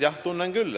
Jah, tunnen küll.